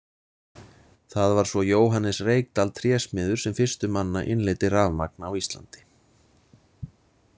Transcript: Það var svo Jóhannes Reykdal trésmiður sem fyrstur manna innleiddi rafmagn á Íslandi.